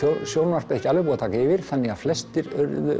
sjónvarpið ekki alveg búið að taka yfir þannig að flestir